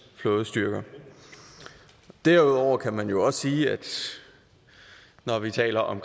flådestyrker derudover kan man jo også sige når vi taler om